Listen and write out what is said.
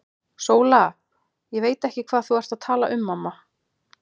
SÓLA: Ég veit ekki hvað þú ert að tala um, mamma.